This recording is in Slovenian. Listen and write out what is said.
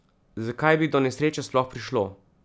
Zakaj bi do nesreče sploh prišlo?